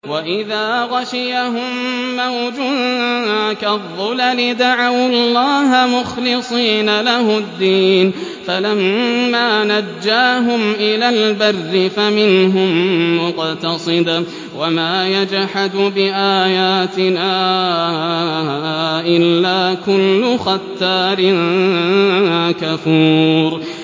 وَإِذَا غَشِيَهُم مَّوْجٌ كَالظُّلَلِ دَعَوُا اللَّهَ مُخْلِصِينَ لَهُ الدِّينَ فَلَمَّا نَجَّاهُمْ إِلَى الْبَرِّ فَمِنْهُم مُّقْتَصِدٌ ۚ وَمَا يَجْحَدُ بِآيَاتِنَا إِلَّا كُلُّ خَتَّارٍ كَفُورٍ